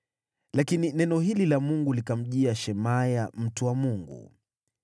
Lakini neno hili la Mungu likamjia Shemaya mtu wa Mungu: